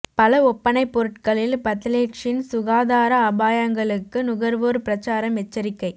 பல ஒப்பனைப் பொருட்களில் பத்தலேட்ஸின் சுகாதார அபாயங்களுக்கு நுகர்வோர் பிரச்சாரம் எச்சரிக்கை